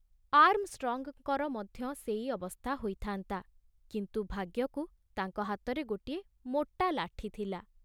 ଆର୍ମଷ୍ଟ୍ରଙ୍ଗଙ୍କର ମଧ୍ୟ ସେଇ ଅବସ୍ଥା ହୋଇଥାନ୍ତା, କିନ୍ତୁ ଭାଗ୍ୟକୁ ତାଙ୍କ ହାତରେ ଗୋଟିଏ ମୋଟା ଲାଠି ଥିଲା।